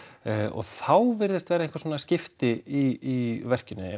og þá virðast vera einhver svona skipti í verkinu